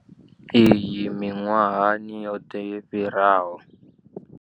Iyi miṅwahani yoṱhe yo fhiraho.